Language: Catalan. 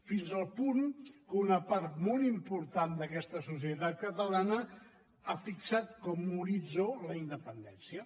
fins al punt que una part molt important d’aquesta societat catalana ha fixat com a horitzó la independència